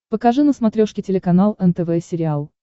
покажи на смотрешке телеканал нтв сериал